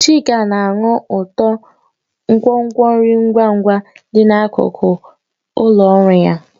Chika na-anụ ụtọ nkwonkwo nri ngwa ngwa dị n'akụkụ ụlọ ọrụ ya.